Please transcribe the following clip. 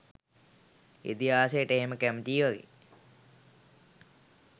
ඉතිහාසයට එහෙම කැමතියි වගේ